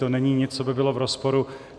To není nic, co by bylo v rozporu.